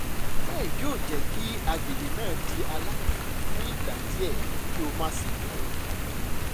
gel yoo jẹ ki agbegbe naa di alaidun fun igba diẹ ki o ma ṣe iberu